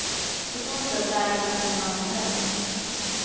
På så sätt lärde man känna andra gäng.